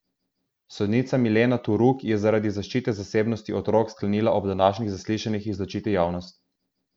Sodnica Milena Turuk je zaradi zaščite zasebnosti otrok sklenila ob današnjih zaslišanjih izločiti javnost.